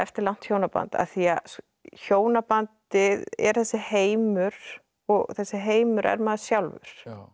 langt hjónaband af því að hjónabandið er þessi heimur og þessi heimur er maður sjálfur